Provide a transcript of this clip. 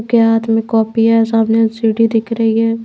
क्या हाथ में कॉपी है सामने एल_सी_डी दिख रही है।